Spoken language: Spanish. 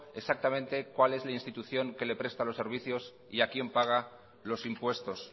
exactamente cuál es la institución que le presta los servicios y a quién paga los impuestos